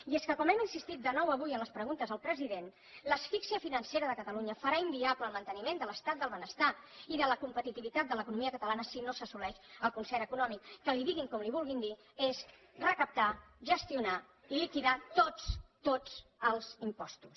i és que com hem insistit de nou avui a les preguntes al president l’asfíxia financera de catalunya farà inviable el manteniment de l’estat del benestar i de la competitivitat de l’economia catalana si no s’assoleix el concert econòmic que li diguin com li vulguin dir és recaptar gestionar i liquidar tots tots els impostos